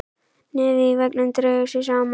Nefið í veggnum dregur sig saman.